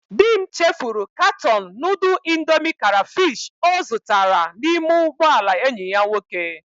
Di m chefuru katọọnụ nudul indomi karafish o zutara n'ime ugboala enyi ya nwoke.